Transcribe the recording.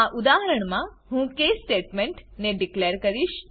આ ઉદાહરણમા હું કેસ સ્ટેટમેન્ટ ને ડીકલેર કરીશ